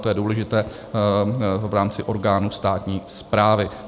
To je důležité v rámci orgánů státní správy.